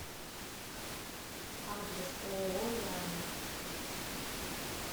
адрес ооо лиана